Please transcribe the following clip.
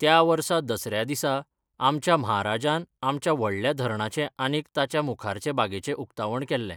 त्या वर्सा दसऱ्या दिसाआमच्या म्हाराजान आमच्या व्हडल्या धरणाचें आनीक ताच्या मुखारचे बागेचें उक्तावण केल्लें.